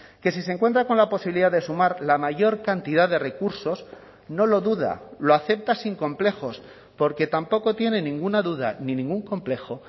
que si se encuentra con la posibilidad de sumar la mayor cantidad de recursos no lo duda lo acepta sin complejos porque tampoco tiene ninguna duda ni ningún complejo